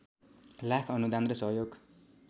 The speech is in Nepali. लाख अनुदान सहयोग